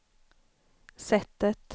sättet